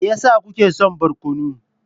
Me yasa kuke son barkono?